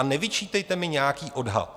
A nevyčítejte mi nějaký odhad!